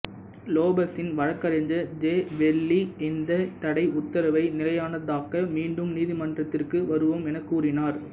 லோபஸின் வழக்கறிஞர் Jay Lavely இந்தத் தடை உத்தரவை நிலையானதாக்க மீண்டும் நீதிமன்றத்திற்கு வருவோம் எனக் கூறினார்